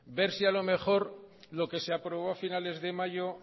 ver si a lo mejor lo que se aprobó a finales de mayo